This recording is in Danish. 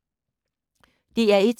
DR1